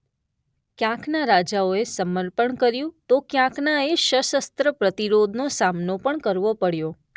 ક્યાંકના રાજાઓએ સમર્પણ કર્યું તો ક્યાંકના એ શસસ્ત્ર પ્રતિરોધનો સામનો પણ કરવો પડ્યો.